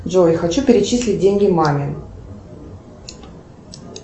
джой хочу перечислить деньги маме